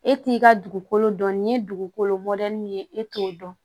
E t'i ka dugukolo dɔn nin ye dugukolo mɔdɛli min ye e t'o dɔn